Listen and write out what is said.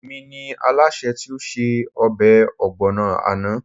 Èmi ni Alásè tí ó se ọbẹ̀ ọ̀gbọ̀nà àná